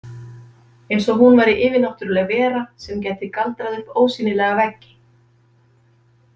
Eins og hún væri yfirnáttúrleg vera sem gæti galdrað upp ósýnilega veggi.